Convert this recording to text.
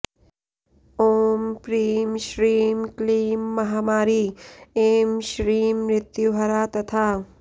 ॐ प्रीं श्रीं क्लीं महामारी ऐं श्रीं मृत्युहरा तथा